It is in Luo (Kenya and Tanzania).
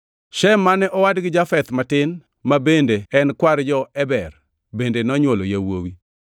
Shem mane owadgi Jafeth matin ma bende en kwar jo-Eber bende nonywolo yawuowi.